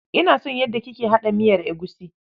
Ina son yadda kike haɗa miyar egusi.